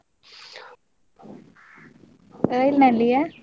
ರೈಲ್ನಲ್ಲಿಯಾ?